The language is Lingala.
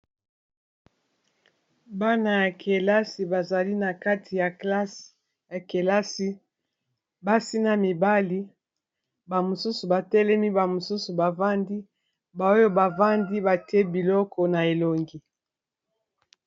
Bana ya kelasi bazali na kati ya klasse ya kelasi basi na mibali ba mosusu batelemi ba mosusu bavandi ba oyo bavandi batie biloko na elongi.